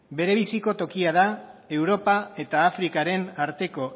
berebiziko tokia da europa eta afrikaren arteko